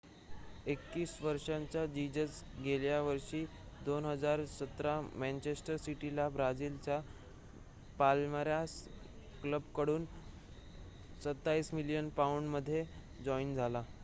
21 वर्षाचा जीजस गेल्या वर्षी 2017 मॅंचेस्टर सिटीला ब्राजीलच्या पाल्मेरास क्लबकडून 27 मिलियन पाउंड मध्ये जॉइन झाला